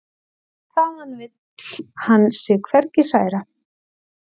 Þaðan vill hann sig hvergi hræra.